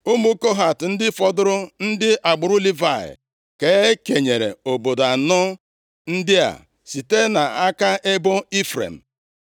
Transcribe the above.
Ụmụ Kohat + 21:20 Ndị a abụghị ndị nchụaja nʼihi na ha e sighị nʼagbụrụ Erọn. \+xt Ọnụ 26:57; 1Ih 6:1,66-70\+xt* ndị fọdụrụ, ndị agbụrụ Livayị ka e kenyere obodo anọ ndị a site nʼaka ebo Ifrem.